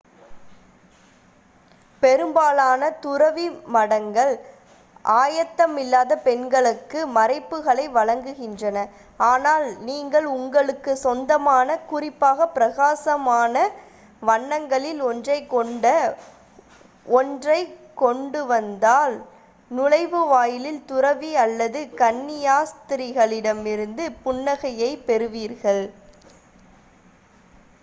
பெரும்பாலான துறவி மடங்கள் ஆயத்தமில்லாத பெண்களுக்கு மறைப்புகளை வழங்குகின்றன ஆனால் நீங்கள் உங்களுக்கு சொந்தமான குறிப்பாக பிரகாசமான வண்ணங்களில் ஒன்றை கொண்ட ஒன்றைக் கொண்டுவந்தால் நுழைவாயிலில் துறவி அல்லது கன்னியாஸ்திரிகளிடமிருந்து புன்னகையைப் பெறுவீர்கள்